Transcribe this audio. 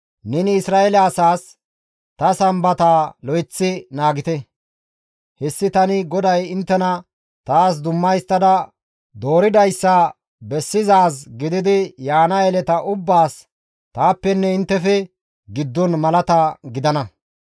«Neni Isra7eele asaas, ‹Ta Sambataa lo7eththi naagite. Hessi tani GODAY inttena taas dumma histtada dooridayssa bessizaaz gididi yaana yeleta ubbaas taappenne inttefe giddon malata gidana.